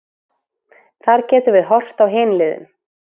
Þar getum við horft á hin liðin.